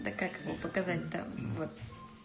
да как его показать да вот